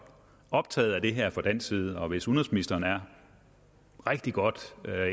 optaget af det her fra dansk side og hvis udenrigsministeren er rigtig godt